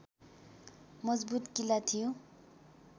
मजबुत किल्ला थियो